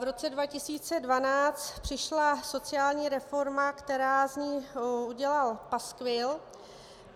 V roce 2012 přišla sociální reforma, která z ní udělala paskvil.